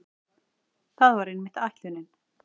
Það var einmitt ætlunin.